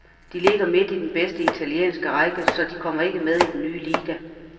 De ligger midt i den bedste italienske række, så de kommer ikke med i den nye liga.